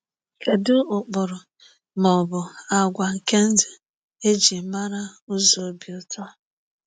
Kedụ ụkpụrụ ma ọ bụ àgwà nke ndụ e ji mara ụzọ obi ụtọ?